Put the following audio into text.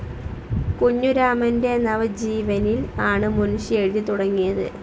കുഞ്ഞുരാമൻ്റെ നവജീവനിൽ ആണ് മുൻഷി എഴുതിത്തുടങ്ങിയത്.